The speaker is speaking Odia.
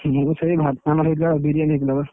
ମୁଁଁ ବି ସେଇ ଆମର ହେଇଥିଲା Biriyani ହେଇଥିଲା ବା